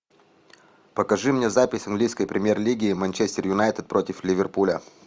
покажи мне запись английской премьер лиги манчестер юнайтед против ливерпуля